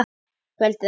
Kvöldið eftir.